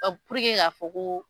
k'a fɔ ko